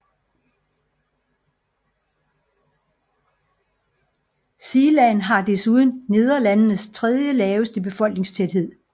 Zeeland har desuden Nederlandenes tredje laveste befolkningstæthed